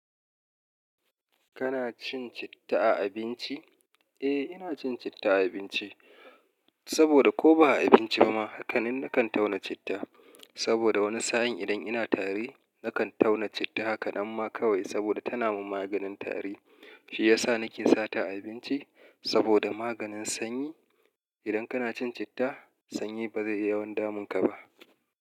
Kana cin citta a abinci? Eh, ina cin citta a abinci saboda ko ba a abinci ba ma, haka ni na kan tauna citta. Saboda wani sa'in idan ina tari, na kan tauna citta hakanan ma kawai saboda tana min maganin tari. Shi ya sa nake sata a abinci saboda maganin sanyi. Idan kana cin citta, sanyi ba zai yi yawan damunka ba.